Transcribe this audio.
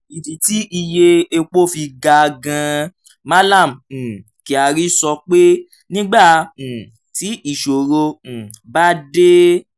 ìdí tí iye epo fi ga gan-an: mallam um kyari sọ pé nígbà um tí ìṣòro um bá dé